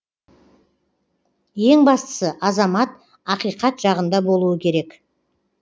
ең бастысы азамат ақиқат жағында болуы керек